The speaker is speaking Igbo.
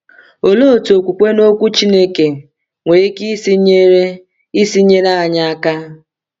Olee otu okwukwe n’Okwu Chineke nwere ike isi nyere isi nyere anyị aka?